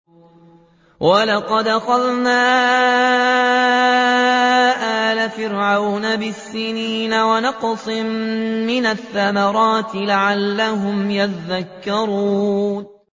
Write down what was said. وَلَقَدْ أَخَذْنَا آلَ فِرْعَوْنَ بِالسِّنِينَ وَنَقْصٍ مِّنَ الثَّمَرَاتِ لَعَلَّهُمْ يَذَّكَّرُونَ